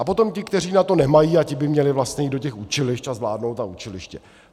A potom ty, kteří na to nemají - a ti by měli vlastně jít do těch učilišť a zvládnout ta učiliště.